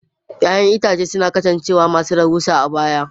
Ya'yan itãcen marmari sun kasance masu rahusa a baya.